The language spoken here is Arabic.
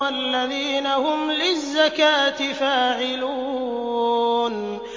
وَالَّذِينَ هُمْ لِلزَّكَاةِ فَاعِلُونَ